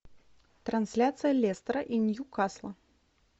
трансляция лестера и ньюкасла